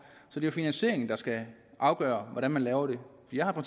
så det finansieringen der skal afgøre hvordan man laver det jeg har